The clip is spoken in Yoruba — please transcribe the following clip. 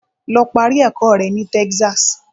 Lọ parí ẹ̀kọ́ rẹ ní Texas.